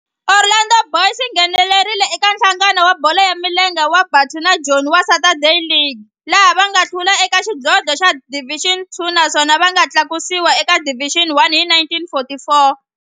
Orlando Boys yi nghenelerile eka Nhlangano wa Bolo ya Milenge wa Bantu wa Joni wa Saturday League, laha va nga hlula eka xidlodlo xa Division Two naswona va nga tlakusiwa eka Division One hi 1944.